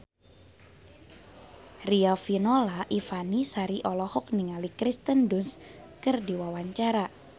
Riafinola Ifani Sari olohok ningali Kirsten Dunst keur diwawancara